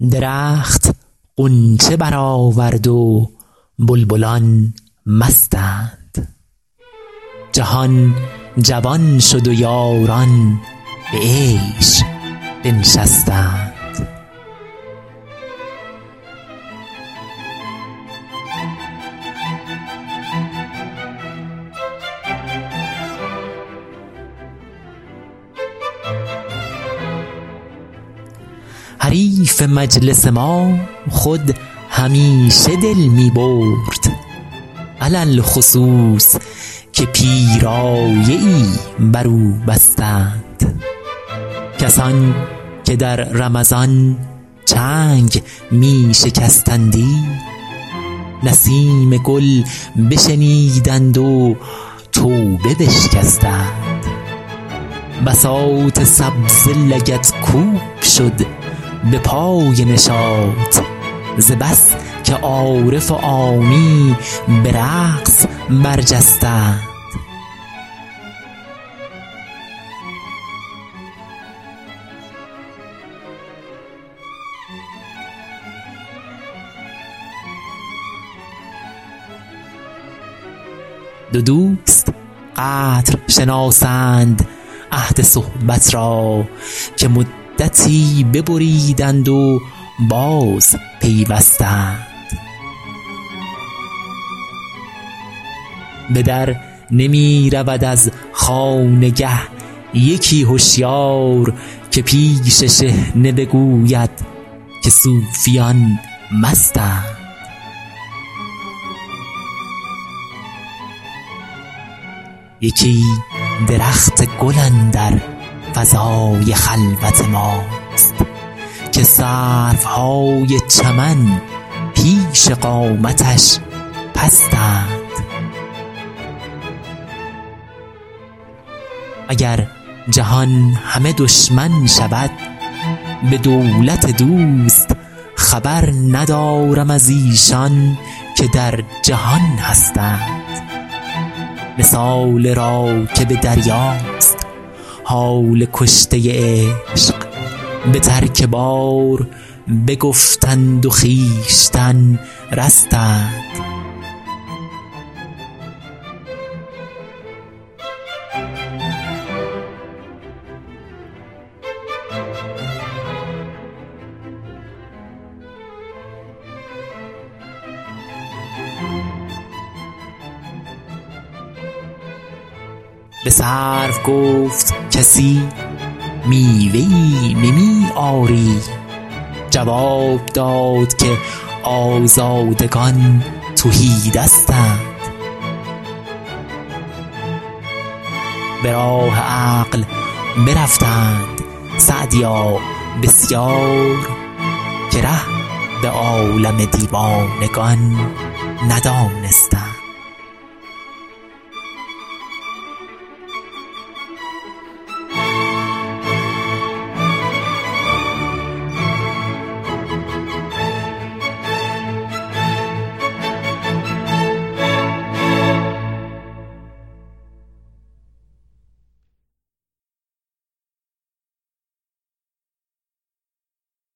درخت غنچه برآورد و بلبلان مستند جهان جوان شد و یاران به عیش بنشستند حریف مجلس ما خود همیشه دل می برد علی الخصوص که پیرایه ای بر او بستند کسان که در رمضان چنگ می شکستندی نسیم گل بشنیدند و توبه بشکستند بساط سبزه لگدکوب شد به پای نشاط ز بس که عارف و عامی به رقص برجستند دو دوست قدر شناسند عهد صحبت را که مدتی ببریدند و بازپیوستند به در نمی رود از خانگه یکی هشیار که پیش شحنه بگوید که صوفیان مستند یکی درخت گل اندر فضای خلوت ماست که سروهای چمن پیش قامتش پستند اگر جهان همه دشمن شود به دولت دوست خبر ندارم از ایشان که در جهان هستند مثال راکب دریاست حال کشته عشق به ترک بار بگفتند و خویشتن رستند به سرو گفت کسی میوه ای نمی آری جواب داد که آزادگان تهی دستند به راه عقل برفتند سعدیا بسیار که ره به عالم دیوانگان ندانستند